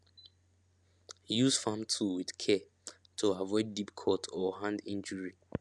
use farm tool with care to avoid deep cut or hand injury